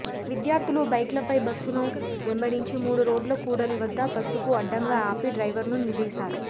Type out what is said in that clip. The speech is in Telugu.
విద్యార్థులు బైక్ల పై బస్సును వెంబడించి మూడు రోడ్ల కూడలి వద్ద బస్సుకు అడ్డంగా ఆపి డ్రైవర్ను నిలదీశారు